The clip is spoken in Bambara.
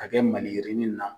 Ka kɛ mali yirinin na.